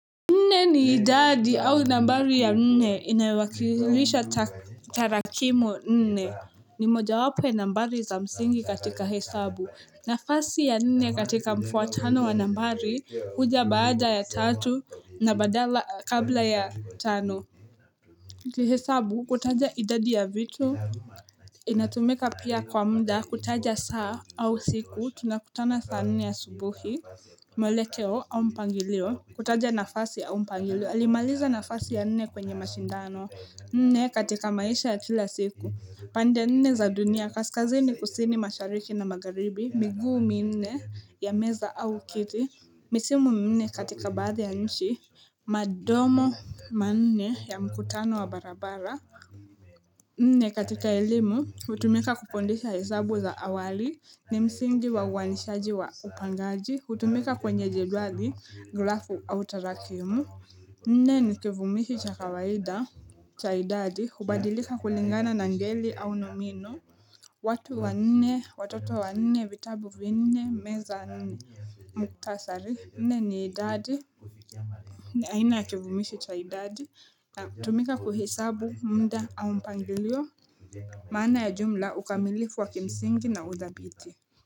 Nne ni idadi au nambari ya nne inayowakilisha tarakimu nne ni mojawapo ya nambari za msingi katika hesabu nafasi ya nne katika mfuatano wa nambari huja baada ya tatu na badala kabla ya tano Kihesabu kutaja idadi ya vitu inatumika pia kwa muda kutaja saa au siku tunakutana saa nne asubuhi mwelekeo au mpangilio kutaja nafasi au mpangilio alimaliza nafasi ya nne kwenye mashindano Nne katika maisha ya kila siku pande nne za dunia kaskazini kusini mashariki na magharibi miguu minne ya meza au kiti Misimu minne katika baadhi ya nchi Madomo manne ya mkutano wa barabara Nne katika elimu hutumika kufundisha hesabu za awali ni msingi wa uwanishaji wa upangaji hutumika kwenye jedwali grafu au tarakimu Nne ni kivumishi cha kawaida cha idadi hubadilika kulingana na ngeli au nomino watu wanne watoto wanne vitabu vinne meza muktasari nne ni idadi aina ya kivumishi cha idadi na hutumika kuhesabu muda au mpangilio maana ya jumla ukamillifu wa kimsingi na udhabiti.